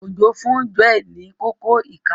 Ojo fún Joe ní Kókó ìka.